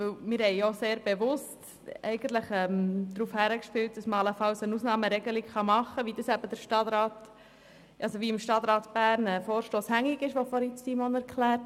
Dies, weil wir bewusst darauf abzielen, dass eine Ausnahmeregelung möglich sein kann, wie es der im Stadtrat hängige Vorstoss fordert.